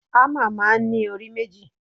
Hámà máa ń ní orí méjì.